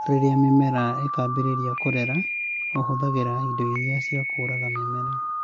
Rĩrĩa mĩmera ĩkambĩrĩria kũrera, ũhũthagĩra indo iria ciakũraga mĩmera